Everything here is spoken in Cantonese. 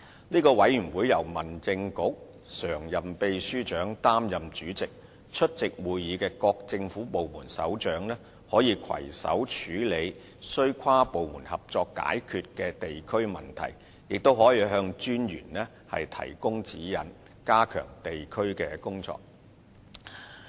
這個委員會由民政事務局常任秘書長擔任主席，出席會議的各政府部門首長，可攜手處理須跨部門合作解決的地區問題，也可向民政事務專員提供指引，加強地區工作。